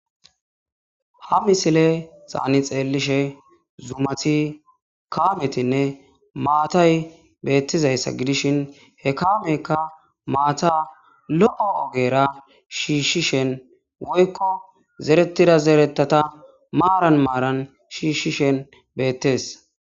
Ha misile xaani xeellishe zumati kaametinne maatay beettizayssa gidishin he kaamekka maata lo7o ogera shiishshishen woykko zeretida zeretata maaran maaran shiishshishen beettees.